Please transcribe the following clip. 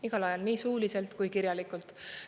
Igal ajal, nii suuliselt kui kirjalikult.